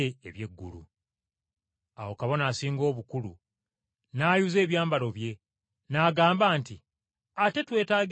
Awo Kabona Asinga Obukulu n’ayuza ebyambalo bye, n’agamba nti, “Ate twetaagira ki abajulizi?